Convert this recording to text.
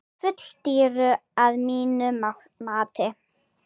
Full dýru að mínu mati.